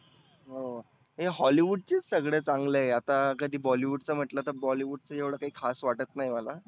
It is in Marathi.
हो हे hollywood चेच सगळे चांगले आहे. आता कधी bollywood च म्हटलं तर bollywood च एवढ काही खास वाटत नाहीए मला.